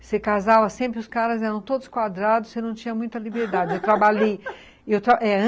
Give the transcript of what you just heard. Você casava sempre, os caras eram todos quadrados, você não tinha muita liberdade.